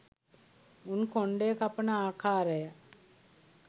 උන් කොණ්ඩය කපන ආකාරය